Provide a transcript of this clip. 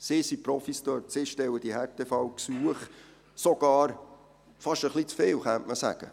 Sie sind Profis, sie stellen die Härtefallgesuche, sogar fast etwas zu viele, könnte man sagen.